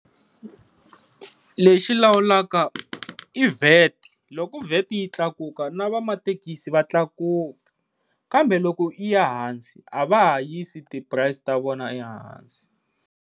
Lexi lawulaka i VAT loku VAT yi tlakuka no va mathekisi va tlakuka kambe loko yi ya ehansi a va ha yisi ti price ta vona ehansi.